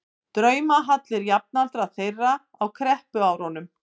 draumahallir jafnaldra þeirra á kreppuárunum.